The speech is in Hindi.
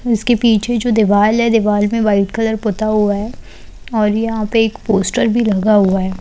इसके पीछे जो दीवाल है दिवाल में वाइट कलर पुता हुआ है और यहां पर एक पोस्टर भी लगा हुआ है।